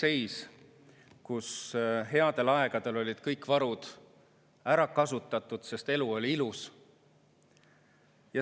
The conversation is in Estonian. Selles rahakotis oli üks suur sügav auk, sest headel aegadel olid kõik varud ära kasutatud, sest elu oli ilus.